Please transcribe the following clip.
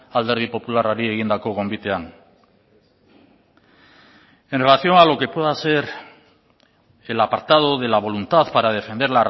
alderdi popularrari egindako gonbitean en relación a lo que pueda ser el apartado de la voluntad para defender